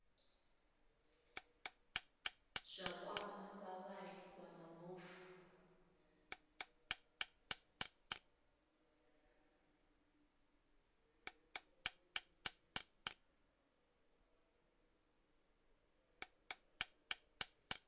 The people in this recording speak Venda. zwa kwama vhavhali vha mabofu